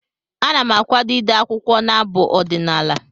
Ana m akwado ide akwụkwọ na abụ ọdịnaala.